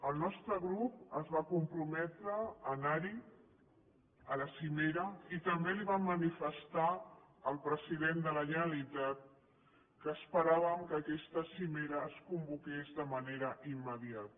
el nostre grup es va comprometre a anar a la cimera i també li vam manifestar al president de la generalitat que esperàvem que aquesta cimera es convoqués de manera immediata